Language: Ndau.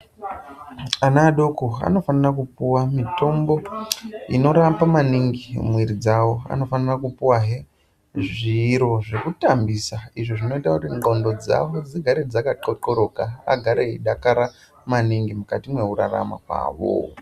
Ana adoko anofana kupuwa mitombo inorapa maningi mwiiri dzavo. Anofanira kupuwahe zviro zvekutambisa izvo zvinoita kuti ndxondo dzavo dzigare dzakathlothloroka. Agare eidakara maningi mukati mwekurarama kwavo.